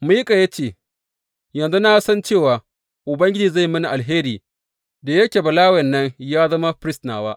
Mika ya ce, Yanzu na san cewa Ubangiji zai yi mini alheri, da yake Balawen nan ya zama firist nawa.